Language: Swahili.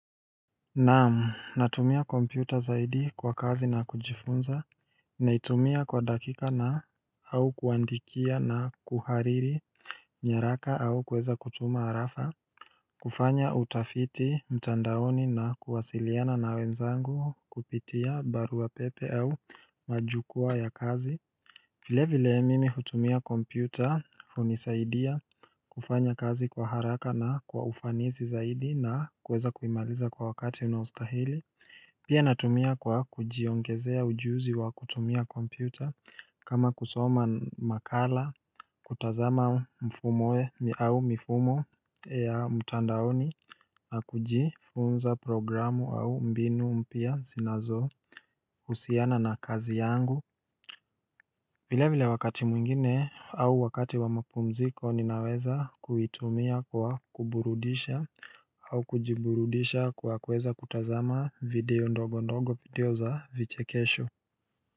Naam natumia kompyuta zaidi kwa kazi na kujifunza naitumia kwa dakika na au kuandikia na kuhariri nyaraka au kuweza kutuma arafa kufanya utafiti mtandaoni na kuwasiliana na wenzangu kupitia barua pepe au majukwaa ya kazi vile vile mimi hutumia kompyuta hunisaidia kufanya kazi kwa haraka na kwa ufanisi zaidi na kuweza kuimaliza kwa wakati unaostahili Pia natumia kwa kujiongezea ujuzi wa kutumia kompyuta kama kusoma makala kutazama mfumowe au mfumo ya mitandaoni na kujifunza programu au mbinu mpya zinazo husiana na kazi yangu vile vile wakati mwingine au wakati wa mapumziko ninaweza kuitumia kwa kuburudisha au kujiburudisha kwa kuweza kutazama video ndogo ndogo video za vichekesho.